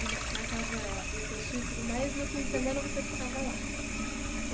E na na casa dos seus tios e tudo mais, no fim de semana, você ficava lá?